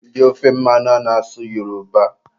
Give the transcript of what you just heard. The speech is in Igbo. Ndị ofe mmanụ ana-asụ Yoroba